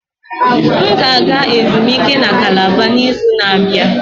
M ga-aga ezumike na Calabar n'izu na-abịa.